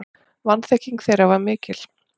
Vanþekking þeirra var mikil.